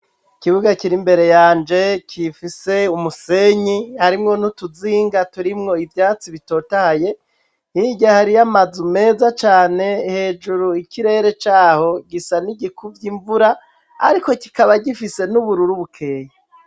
Ikibuga kiri mbere yanje kifise umusenyi harimwo niutuzinga turimwo ivyatsi bitotaye ntirya hariyo amaze meza cane hejuru ikirere caho gisa n'igikuvya imvura, ariko kikaba gifise n'ubururu bukeye.